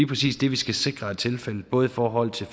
præcis det vi skal sikre er tilfældet både i forhold til